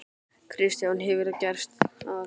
Kristján: Hefur það gerst að?